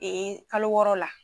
kalo wɔɔrɔ la.